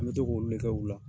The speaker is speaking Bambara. An bɛ to k'o olu le kɛ u la.